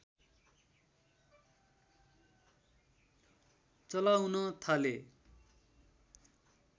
चलाउन थाले